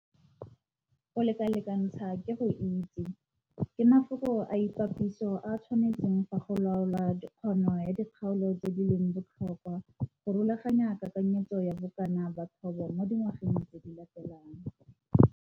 'Go lekalekantsha ke go itse' ke mafoko a ipapatso a a tshwanetseng fa go laolwa kgono ya dikgaolo tse di leng botlhokwa go rulaganya kakanyetso ya bokana ba thobo mo dingwageng tse di latelang.